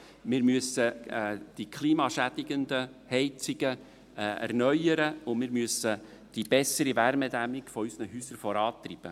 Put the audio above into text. Wir müssen die klimaschädigenden Heizungen erneuern, und wir müssen die bessere Wärmedämmung unserer Häuser vorantreiben.